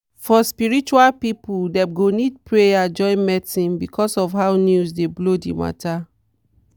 for spiritual people dem go need prayer join medicine because of how news dey blow the matter.